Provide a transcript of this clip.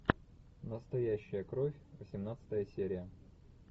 настоящая кровь восемнадцатая серия